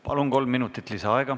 Palun, kolm minutit lisaaega!